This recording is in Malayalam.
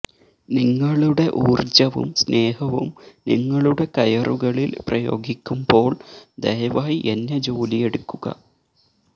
നിങ്ങളുടെ ഊർജ്ജവും സ്നേഹവും നിങ്ങളുടെ കയറുകളിൽ പ്രയോഗിക്കുമ്പോൾ ദയവായി എന്നെ ജോലിയെടുക്കുക